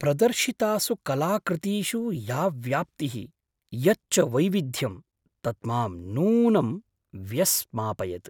प्रदर्शितासु कलाकृतीषु या व्याप्तिः, यच्च वैविध्यं तत् मां नूनं व्यस्मापयत्।